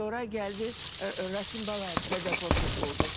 Sonra gəldi Rasim Balayev, Dədə Qorquz oldu.